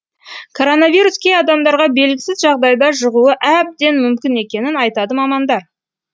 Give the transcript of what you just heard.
коронавирус кей адамдарға белгісіз жағдайда жұғуы әбден мүмкін екенін айтады мамандар